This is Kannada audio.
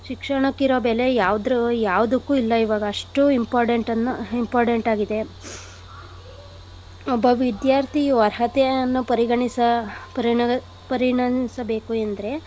ಶಿಕ್ಷಣಕ್ ಇರೋ ಬೆಲೆ ಯಾವ್ದ್ರ್ ಯಾವ್ದಕ್ಕು ಇಲ್ಲ ಇವಾಗ ಅಷ್ಟು important ಅನ್ನ important ಆಗಿದೆ. ಒಬ್ಬ ವಿದ್ಯಾರ್ಥಿಯು ಅರ್ಹತೆಯನ್ನು ಪರಿಗಣಿಸ~ ಪರಿಗ~ ಪರಿಣಿಸಬೇಕು ಎಂದ್ರೆ.